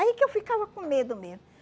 Aí que eu ficava com medo mesmo.